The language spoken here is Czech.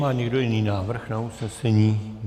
Má někdo jiný návrh na usnesení?